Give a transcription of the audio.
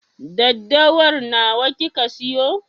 Daddawar nawa kika siyo?